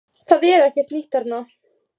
Það er ekkert nýtt þarna